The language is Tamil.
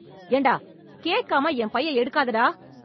என்டா கேட்காம என் பைய எடுக்காதடா